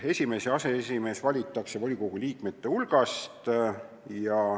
Esimees ja aseesimees valitakse volikogu liikmete hulgast.